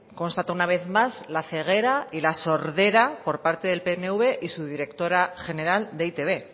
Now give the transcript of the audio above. constata una vez más la ceguera y la sordera por parte del pnv y su directora general de e i te be